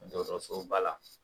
Dɔgɔtɔrɔsoba la